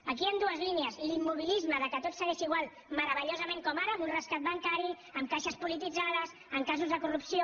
aquí hi han dues línies l’immobilisme amb què tot segueix igual meravellosament com ara amb un rescat bancari amb caixes polititzades amb casos de corrupció